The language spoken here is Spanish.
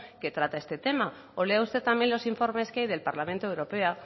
que trata este tema o lea usted también los informes que hay del parlamento europeo